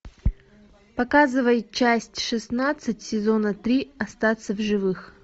показывай часть шестнадцать сезона три остаться в живых